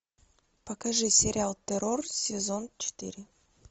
покажи сериал террор сезон четыре